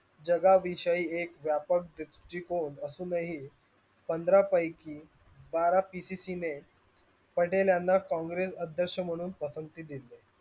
जागा विषयई एक व्यापक द्रूष्टीकोन असून ही पंधरा पैकी बारा pcc ने पटेलयांना कॉँग्रेस अध्यकक्ष म्हणून पसंती दिली.